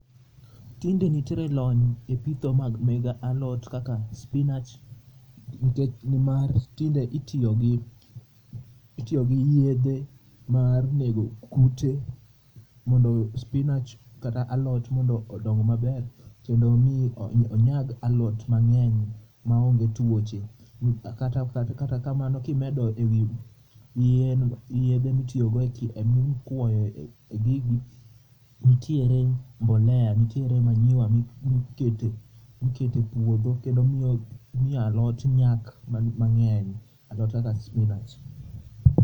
Tinde nitiere lony e pitho mag mege alot kaka spinach nikech ni mar tinde itiyo gi yedhe mar nego kute mondo spinach kata alot mondo odong maber kendo mi onyag alot mangeny ma onge tuoche kata kamano ka imedo e wi yedhe mitiyo go mi kwoyo e gigi nitere mbolea nitiere manure mi kete e puodho kendo miyo alot nyak mangeny alot kaka spinach.